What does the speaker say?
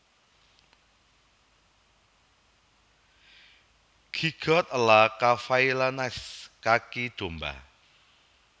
Gigot a la Cavaillonnaise kaki domba